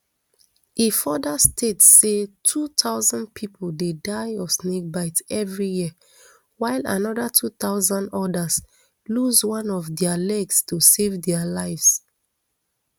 e further state say two thousand pipo dey die of snakebite everi year while anoda two thousand odas lose one of dia legs to save dia lives